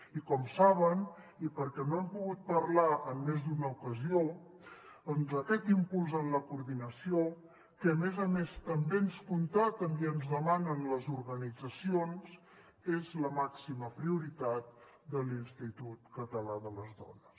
i com saben i perquè n’hem pogut parlar en més d’una ocasió doncs aquest impuls en la coordinació que a més a més també ens constaten i ens demanen les organitzacions és la màxima prioritat de l’institut català de les dones